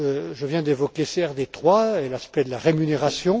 Je viens d'évoquer CRD 3 et l'aspect de la rémunération.